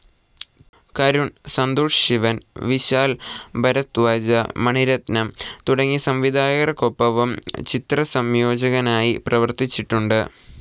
കരുൺ, സന്തോഷ് ശിവൻ, വിശാൽ ഭരധ്വാജ്, മണി രത്നം തുടങ്ങിയ സംവിധായകർക്കൊപ്പവും ചിത്രസംയോജകനായി പ്രവർത്തിച്ചിട്ടുണ്ട്.